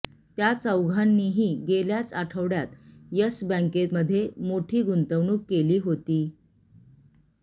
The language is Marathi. त्या चौघांनीही गेल्याच आठवड्यात येस बॅंकेमध्ये मोठी गुंतवणूक केली होती